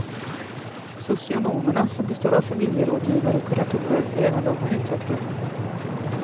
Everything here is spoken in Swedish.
Socionomerna, som består av familjerådgivare och kuratorer, är även de en utsatt grupp.